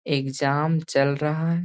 Exam चल रहा है।